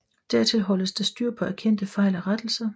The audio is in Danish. Dertil holdes der styr på erkendte fejl og rettelser